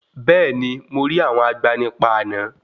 Bẹ́ẹ̀ni, mo rí àwọn agbanipa àná.